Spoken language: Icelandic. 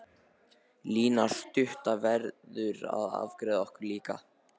Lína stutta verður að afgreiða okkur líka.